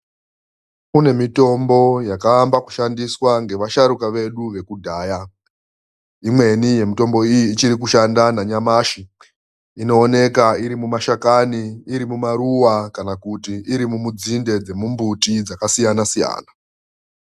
Kune mitombo yakaamba kushandiswa naasharukwa vedu vekudhaya. Imweni yemitombo iyi ichiri kushanda nanyamashi. Inooneka iri mumashakani iri mumaruwa kana kuti irimumudzinde dzemumbiti dzakasiyana-siyana.